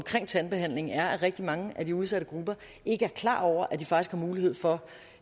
tandbehandling er at rigtig mange af de udsatte grupper ikke er klar over at de faktisk har mulighed for